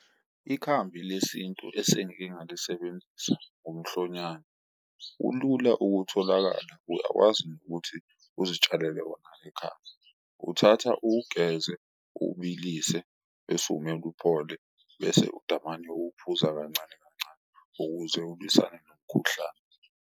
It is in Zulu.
Ikhambi lesintu esengike ngalisebenzisa umhlonyane ulula ukutholakala uyakwazi nokuthi uzitshalele wona ekhaya, uthatha uwugeze, uwubilise bese uwumela uphole bese udamane uwuphuza kancane kancane. Ukuze ulwisane nomkhuhlane.